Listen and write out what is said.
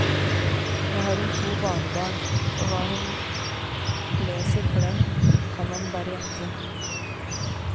Nå har hun to barnebarn, og hva hun leser for dem kan man bare gjette.